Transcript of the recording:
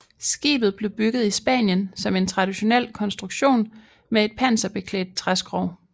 Skibet blev bygget i Spanien som en traditionel konstruktion med et panserbeklædt træskrog